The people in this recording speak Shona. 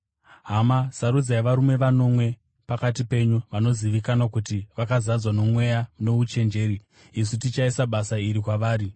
Hama, sarudzai varume vanomwe pakati penyu vanozivikanwa kuti vakazadzwa noMweya nouchenjeri. Isu tichaisa basa iri kwavari,